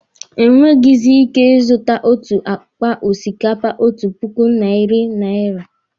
Enweghizi ike ị zụta otu akpa osikapa otu puku narị naira.